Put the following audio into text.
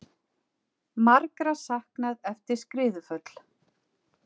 Margra saknað eftir skriðuföll